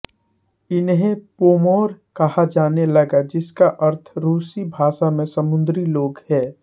इन्हें पोमोर कहा जाने लगा जिसका अर्थ रूसी भाषा में समुद्री लोग है